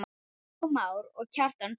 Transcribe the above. Jakob Már og Kjartan Freyr.